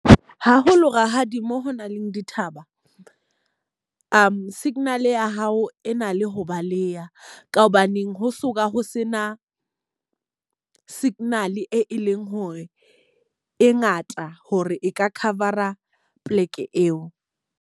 Haholo rakgadi mo ho nang le dithaba signal ya hao e na le ho baleha. Ka hobaneng ha so ka ho se na signal e leng hore e ngata hore e ka cover-a poleke eo.